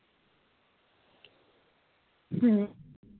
ਹੂ